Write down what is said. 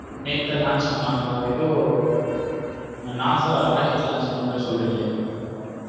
நேத்து தான் launch பண்ணன்காலா எதோ நாசா rocket launch பண்ண மாதிரி சொல்ற்றீன்கலே.